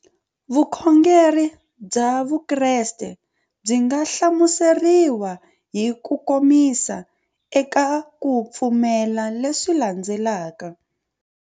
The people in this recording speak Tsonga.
Vukhongeri bya Vukreste byi nga hlamuseriwa hi kukomisa eka ku pfumela leswi landzelaka.